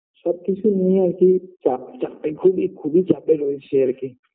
সবকিছু নিয়ে আর কি চাপচাপে খুব খুবই চাপে রয়েছি আর কি